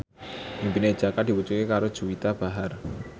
impine Jaka diwujudke karo Juwita Bahar